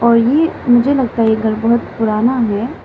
और ये मुझे लगता है ये घर बहोत पुराना है।